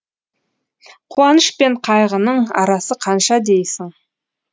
қуаныш пен қайғының арасы қанша дейсің